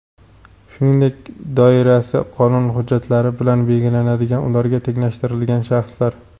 shuningdek doirasi qonun hujjatlari bilan belgilanadigan ularga tenglashtirilgan shaxslar.